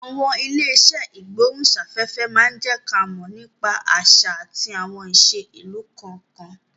Àwọn ilé iṣẹ́ ìgbóhùn sáfẹ́fẹ́ má jẹ́ ń ká mọ̀ nípa àṣà àti àwọn ìṣe ìlú kọ̀ọ̀kan